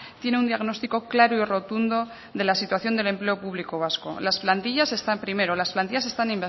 tiene un diagnóstico claro y rotundo de la situación del empleo público vasco las plantillas están primero las plantillas están